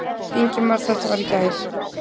Ingimar: Þetta var í gær.